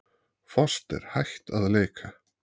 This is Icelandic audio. Foster hætt að leika